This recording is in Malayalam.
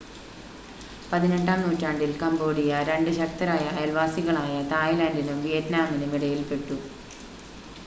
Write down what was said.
18-ആം നൂറ്റാണ്ടിൽ കമ്പോഡിയ രണ്ട് ശക്തരായ അയൽവാസികളായ തായ്‌ലാൻഡിനും വിയറ്റ്നാമിനും ഇടയിൽപ്പെട്ടു